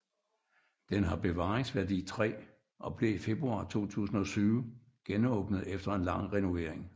Den har bevaringsværdi 3 og blev i februar 2007 genåbnet efter en lang renovering